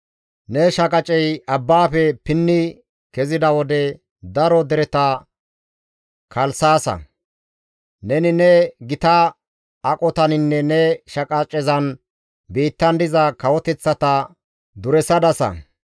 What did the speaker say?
Ne shaqacey abbaafe pinni kezida wode, daro dereta kalssaasa; neni ne gita aqotaninne ne shaqacezan biittan diza kawoteththata duresadasa.